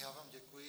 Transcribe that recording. Já vám děkuji.